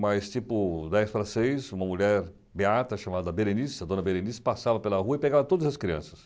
Mas tipo dez para seis, uma mulher gata chamada Berenice, a dona Berenice, passava pela rua e pegava todas as crianças.